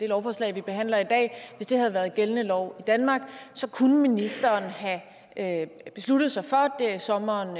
lovforslag vi behandler i dag havde været gældende lov i danmark kunne ministeren have besluttet sig for der i sommeren